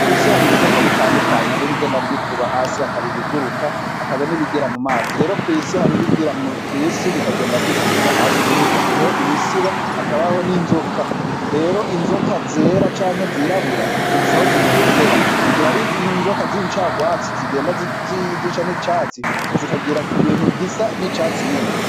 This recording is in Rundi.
Kw'isi hari ibikoko bitandukanye hari ibigenda vy'ikuba hasi hakaba ibiguruka hakaba n'ibigira mu mazi rero hari ibigira kw'isi bikagenda vy'ikuba inda hasi, muri ivyo hariho imisiba hakabaho n'inzoka rero inzoka zera canke zirabura zifise aho zigendera mu gihe ari inzoka z'incarwatsi zigenda zica n'icatsi zikagira ku bintu vyisa n'icatsi nyene.